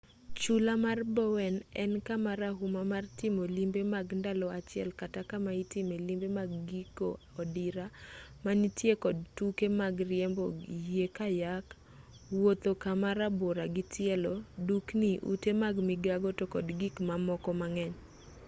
chula mar bowen en kama rahuma mar timo limbe mag ndalo achiel kata kama itime limbe mag giko odira ma nitiere kod tuke mag riembo yie kayak wuotho kama rabora gi tielo dukni ute mag migago to kod gik mamoko mang'eny